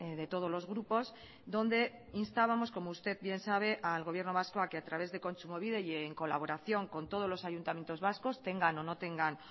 de todos los grupos donde instábamos como usted bien sabe al gobierno vasco a que a través del kontsumobide y el colaboración con todos los ayuntamientos vascos tengan o no tengan